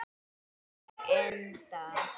Og endað.